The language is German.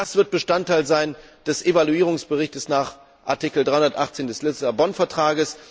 Das wird Bestandteil des Evaluierungsberichts nach Artikel 318 des Lissabon Vertrags.